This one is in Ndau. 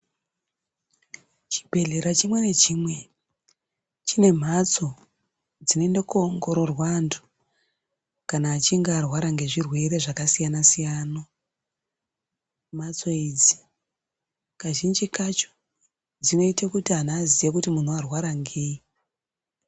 Chibhedhlera chimwe nachimwe chine mhatso dzinoende kunoongororwa antu kana achinge arwara ngezvirwere zvakasiyanasiyana mhatso idzi kazhinji kacho dzinoita kuti vantu vazive kuti muntu warwara ngei .